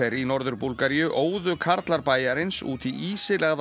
í Norður Búlgaríu óðu karlar bæjarins út í